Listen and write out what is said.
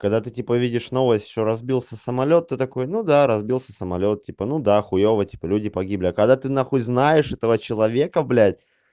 когда ты типа видишь новость что разбился самолёт ты такой ну да разбился самолёт типа ну да хуева типа люди погибли а когда ты нахуй знаешь этого человека блядь